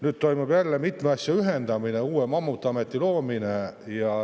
Nüüd toimub jälle mitme asja ühendamine, uue mammutameti loomine.